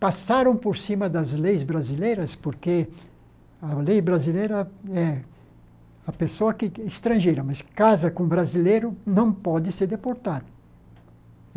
Passaram por cima das leis brasileiras, porque a lei brasileira é a pessoa que é estrangeira, mas casa com brasileiro não pode ser deportada.